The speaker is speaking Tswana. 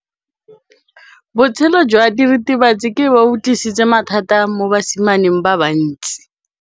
Botshelo jwa diritibatsi ke bo tlisitse mathata mo basimaneng ba bantsi.